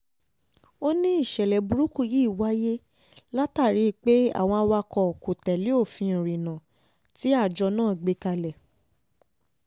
ó ní ìṣẹ̀lẹ̀ burúkú yìí wáyé látàrí pé àwọn awakọ̀ tó tẹ̀lé òfin ìrìnnà tí àjọ náà gbé kalẹ̀